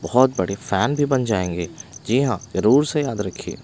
बहुत बड़े फैन भी बन जाएंगे जी हाँ जरूर से याद रखिए।